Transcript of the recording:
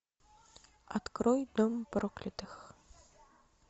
открой дом проклятых